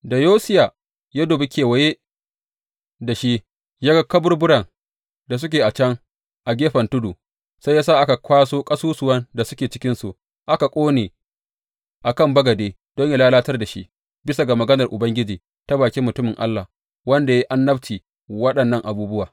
Da Yosiya ya dubi kewaye da shi, ya ga kaburburan da suke can a gefen tudu, sai ya sa aka kwaso ƙasusuwan da suke cikinsu aka ƙone a kan bagade don yă lalatar da shi bisa ga maganar Ubangiji ta bakin mutumin Allah, wanda ya yi annabcin waɗannan abubuwa.